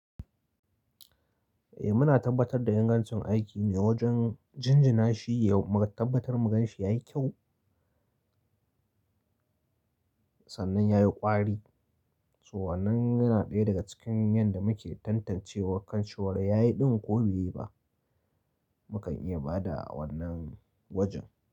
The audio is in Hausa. Eh muna tabbatar da ingancin aiki ne wajen jinjina shi yau, mu tabbatar mu gan shi yayi kyau, sannan yayi ƙwari. Su wannan yana ɗaya daga cikin yanda muke tantance wa kan ciwon yayi ɗin ko bai yi ba. Mukan iya ba da wannan wajen.